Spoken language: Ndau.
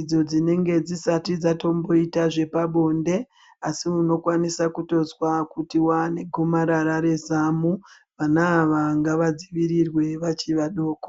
idzo dzinenge dzisati dzatomboita zvepabonde asi unokwanisa kutozwa kuti waane gomarara rezamu. Vana ava ngavadzivirirwe vachi vadoko.